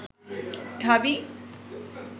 ঢাবি